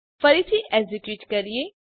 ફરીથી એક્ઝેક્યુટ કરીએ